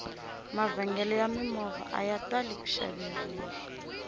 mavhengele ya mimovha aya tali ku xaveriwa